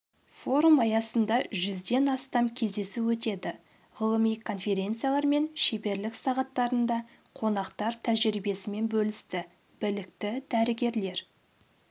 форум аясында жүзден астам кездесу өтеді ғылыми конференциялар мен шеберлік сағаттарында қонақтар тәжірибесімен бөлісті білікті дәрігерлер